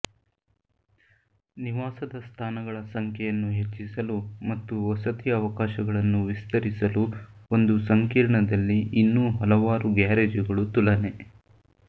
ನಿವಾಸದ ಸ್ಥಾನಗಳ ಸಂಖ್ಯೆಯನ್ನು ಹೆಚ್ಚಿಸಲು ಮತ್ತು ವಸತಿ ಅವಕಾಶಗಳನ್ನು ವಿಸ್ತರಿಸಲು ಒಂದು ಸಂಕೀರ್ಣದಲ್ಲಿ ಇನ್ನೂ ಹಲವಾರು ಗ್ಯಾರೇಜುಗಳು ತುಲನೆ